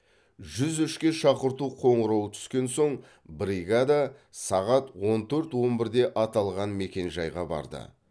жүз үшке шақырту қоңырауы түскен соң бригада сағат он төрт он бірде аталған мекенжайға барды